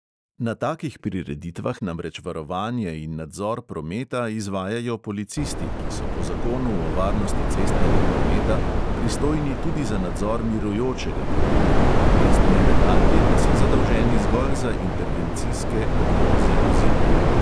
Na takih prireditvah namreč varovanje in nadzor prometa izvajajo policisti, ki so po zakonu o varnosti cestnega prometa pristojni tudi za nadzor mirujočega prometa, mestni redarji pa so zadolženi zgolj za intervencijske odvoze vozil.